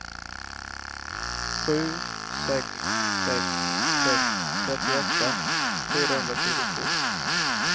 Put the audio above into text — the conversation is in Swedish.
sju sex sex sex trettioåtta fyrahundratjugotvå